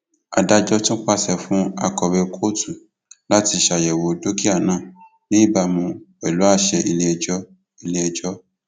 adájọ tún pàṣẹ fún akọwé kóòtù láti ṣàyẹwò dúkìá náà ní ìbámu pẹlú àṣẹ iléẹjọ iléẹjọ